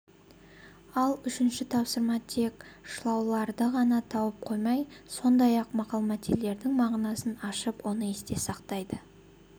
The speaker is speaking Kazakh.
ал үшінші тапсырма тек шылауларды ғана тауып қоймай сондай-ақ мақал-мәтелдердің мағынасын ашып оны есте сақтайды